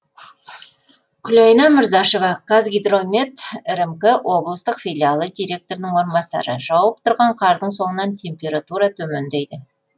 күлайна мырзашева қазгидромет рмк облыстық филиалы директорының орынбасары жауып тұрған қардың соңынан температура төмендейді